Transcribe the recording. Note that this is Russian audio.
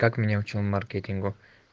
как меня учил маркетингу